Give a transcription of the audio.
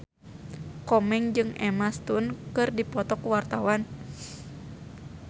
Komeng jeung Emma Stone keur dipoto ku wartawan